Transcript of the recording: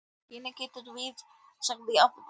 Gunni gretti sig af vonbrigðum.